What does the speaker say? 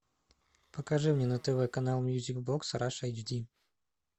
покажи мне на тв канал мьюзик бокс раша эйч ди